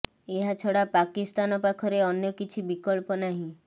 ଏହା ଛଡା ପାକିସ୍ତାନ ପାଖରେ ଅନ୍ୟ କିଛି ବିକଳ୍ପ ନାହିଁ